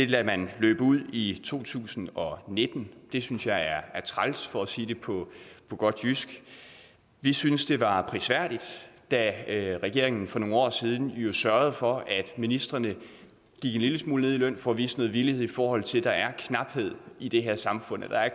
lader man løbe ud i to tusind og nitten det synes jeg er træls for at sige det på godt jysk vi synes det var prisværdigt da regeringen for nogle år siden sørgede for at ministrene gik en lille smule ned i løn for at vise noget villighed i forhold til at der er knaphed i det her samfund at der er